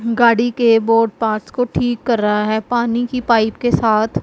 गाड़ी के board parts को ठीक कर रहा है पानी की पाइप के साथ--